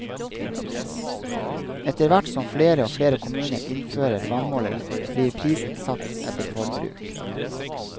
Etterhvert som flere og flere kommuner innfører vannmålere, blir prisen satt etter forbruk.